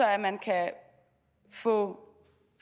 at man kan få